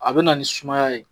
A bɛ na ni sumaya ye.